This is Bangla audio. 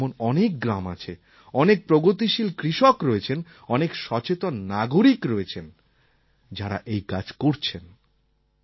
দেশের মধ্যে এমন অনেক গ্রাম আছে অনেক প্রগতিশীল কৃষক রয়েছেন অনেক সচেতন নাগরিক রয়েছেন যাঁরা এই কাজ করছেন